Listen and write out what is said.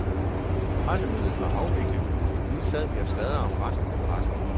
Pressemødet var afviklet, og nu sad de og sladrede om resten af pressen.